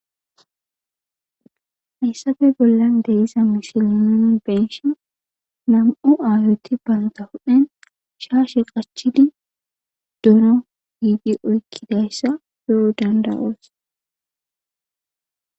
hayssappe bollan de'iza misile nuni benshe nam'u aayoti banta hudhphen shaashe qachidi dono oykidaysa beya danda'osi.